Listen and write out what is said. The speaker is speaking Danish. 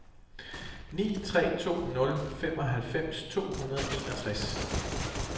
ni tre to nul femoghalvfems to hundrede og enogtres